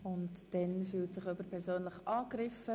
Und da fühlt sich noch jemand persönlich angegriffen.